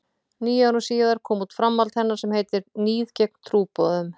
Níu árum síðar kom út framhald hennar sem heitir Níð gegn trúboðum.